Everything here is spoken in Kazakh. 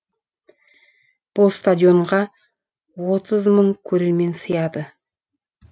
бұл стадионға отыз мың көрермен сияды